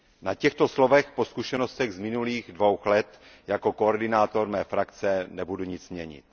Na těchto slovech po zkušenostech z minulých dvou let jako koordinátor mé frakce nebudu nic měnit.